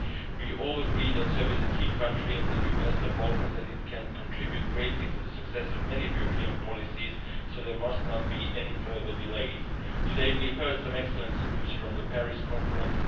We all agree that Serbia is a key country in the Western Balkans and can contribute greatly to the success of many European policies, so there must not be any further delays. Today we heard some excellent news from the Paris Conference.